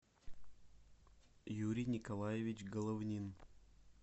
юрий николаевич головнин